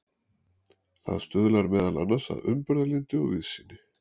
það stuðlar meðal annars að umburðarlyndi og víðsýni